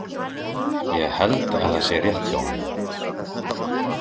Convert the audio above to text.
Ég held að það sé rétt hjá honum.